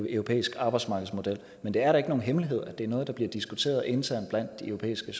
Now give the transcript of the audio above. europæisk arbejdsmarkedsmodel men det er da ikke nogen hemmelighed at det er noget der bliver diskuteret internt blandt de europæiske